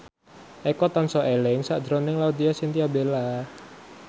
Eko tansah eling sakjroning Laudya Chintya Bella